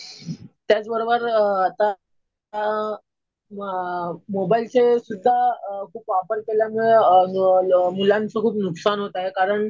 त्याचबरोबर आता अ मोबाईलचे सुध्दा खूप वापर केल्यामुळं मुलांचं खूप नुकसान होतं आहे. कारण